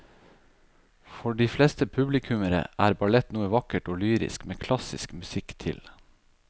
For de fleste publikummere er ballett noe vakkert og lyrisk med klassisk musikk til.